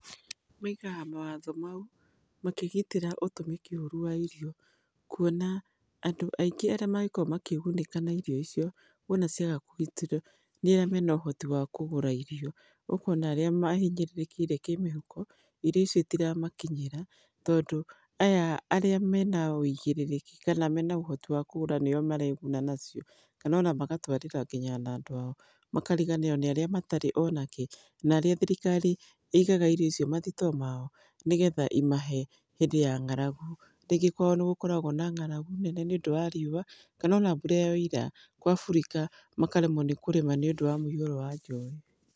Maĩgaga mawatho maũ makĩgĩtĩra ũtũmĩki ũrũ wa irio, kũona andũ aingĩ arĩa magĩkorwo magĩgũnĩka nĩ ĩrĩo icio, wona ciaga kũgĩtĩrwo nĩ arĩa mena ũhotĩ wa kũgũra irio, ũkona arĩa mahĩnyĩrĩrĩkĩire kĩmũhũko, irio icio itĩramakĩnyĩra tondũ aya arĩa mena wĩigĩrĩrĩki kana mena ũhoti wa kũgũra nĩo maregũna nacio, kana ona magatwarĩra ngĩnya na andũ ao, makarĩganĩrwo nĩ arĩa matarĩ onakĩ, na rĩrĩa thirikari ĩigaga irio icio mathĩto mao nĩ getha ĩmahe hĩndĩ ya ngaragũ, rĩngĩ nĩgũkoragwo na ngaragũ nene nĩ ũndũ wa riũa kana ona mbũra yaũra, gũa furika makaremwo nĩ kũrĩma nĩ ũndũ wa mũĩhũrwo wa rĩũa.